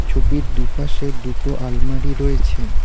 ছবির দুপাশে দুটো আলমারি রয়েছেন।